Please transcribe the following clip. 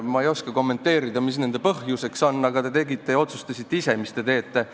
Ma ei oska kommenteerida, mis nende põhjuseks on, aga te tegite neid ja otsustasite ise, mis te teete.